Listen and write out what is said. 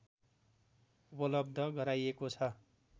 उपलब्ध गराइएको छ